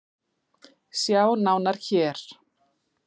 Sjá nánar hér.